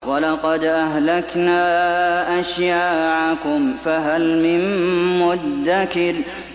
وَلَقَدْ أَهْلَكْنَا أَشْيَاعَكُمْ فَهَلْ مِن مُّدَّكِرٍ